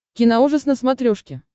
киноужас на смотрешке